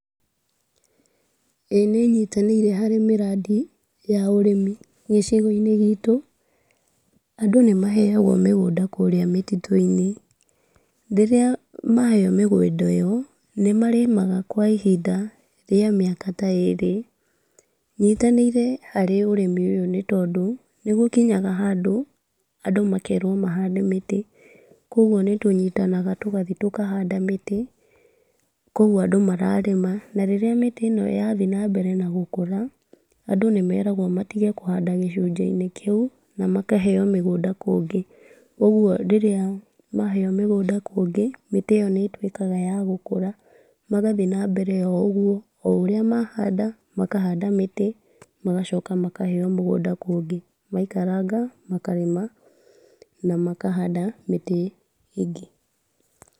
ĩĩ nĩ nyitanĩire harĩ mĩrandi ya ũrĩmi, gĩcigo-inĩ gitũ, andũ nĩmaheagwo mĩgũnda kũrĩa mĩtitũ-inĩ, rĩrĩa maheo mĩgũnda ĩyo, nĩmarĩmaga kwa ihinda rĩa mĩaka ta ĩrĩ .Nyitanĩire harĩ ũrĩmi ũyũ nĩ tondũ, nĩgũkinyaga handũ andũ makerwo mahande mĩtĩ, kũgwo nĩtũnyitanaga tũgathiĩ tũkahanda mĩtĩ ,kũu andũ mararĩma , na rĩrĩa mĩtĩ ĩno yathiĩ na mbere na gũkũra, andũ nĩ meragwo matige kũhanda gĩcunĩi-inĩ kĩu, na makaheo mĩgũnda kũngĩ , ũgwo rĩrĩa maheo mĩgũnda kũngĩ, mĩtĩ ĩyo nĩ ĩtwĩkaga ya gũkũra , magathiĩ na mbere o ũguo, o ũrĩa mahanda makahanda mĩtĩ, magacoka makaheo mĩgũnda kũngĩ , maikaranga makarĩma, na makahanda mĩtĩ ĩngĩ.